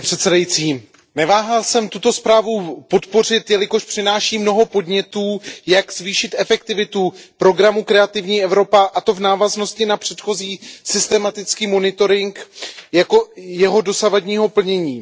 Pane předsedající, neváhal jsem tuto zprávu podpořit, jelikož přináší mnoho podnětů, jak zvýšit efektivitu programu Kreativní Evropa, a to v návaznosti na předchozí systematický monitoring jeho dosavadního plnění.